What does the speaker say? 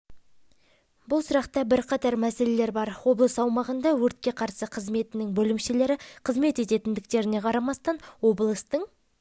бұл сұрақта бірқатар мәселелер бар облыс аумағында өртке қарсы қызметінің бөлімшелері қызмет ететіндіктеріне қарамастан облыстың